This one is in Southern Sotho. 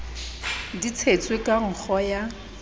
di tshetswe ka nkgo ya